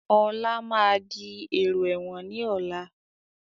Ọlá máa di èrò ẹ̀wọ̀n ni ọ̀la